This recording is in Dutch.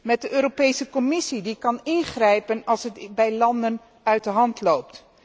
Met de Commissie, die kan ingrijpen als het bij landen uit de hand loopt.